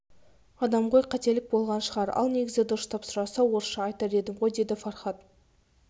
адам ғой қателік болған шығар ал негізі дұрыстап сұраса орысша айтар едім ғой деді фархад